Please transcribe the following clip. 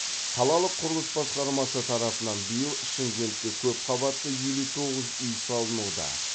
қалалық құрылыс басқармасы тарапынан биыл шымкентте көп қабатты елу тоғыз үй салынуда